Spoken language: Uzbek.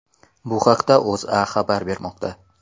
Bu haqda O‘zA xabar bemoqda .